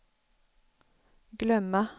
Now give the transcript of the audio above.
glömma